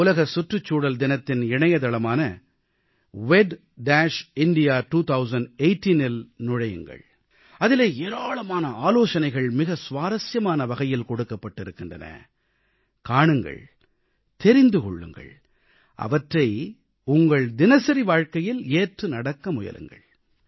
உலக சுற்றுச்சூழல் தினத்தின் இணையதளமான wedindia2018இல் நுழையுங்கள் அதிலே ஏராளமான ஆலோசனைகள் மிக சுவாரசியமான வகையில் கொடுக்கப்பட்டிருக்கின்றன காணுங்கள் தெரிந்து கொள்ளுங்கள் அவற்றை உங்கள் தினசரி வாழ்க்கையில் ஏற்றுநடக்க முயலுங்கள்